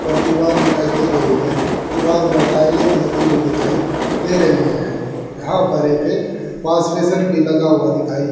ऊपर दीवार दिखाई दे रही है दीवार पर टाइले भी लगी हुई दिखाई दे रही है यहां पर एक वाशबेसिन भी लगा हुआ दिखाई--